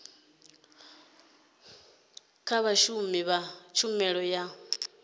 kha vhashumi vha tshumelo ya